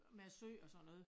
Med æ sø og sådan noget